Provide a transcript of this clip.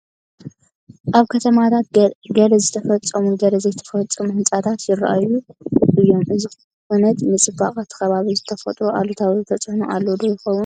ኣብ ከተማታት ገለ ዝተፈፀሙ ገለ ዘይተፈፀሙ ህንፃታት ይርአዩ እዮም፡፡ እዚ ኩነት ንፅባቐ እቲ ከባቢ ዝፈጥሮ ኣሉታዊ ተፅእኖ ኣሎ ዶ ይኸውን?